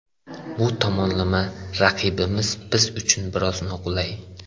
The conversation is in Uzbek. Bu tomonlama, raqibimiz biz uchun biroz noqulay.